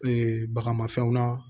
bagamafɛnw na